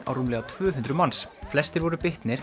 á rúmlega tvö hundruð manns flestir voru